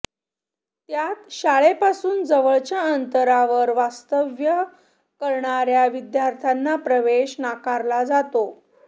त्यात शाळेपासून जवळच्या अंतरावर वास्तव्य करणार्या विद्यार्थ्यांना प्रवेश नाकारला जातो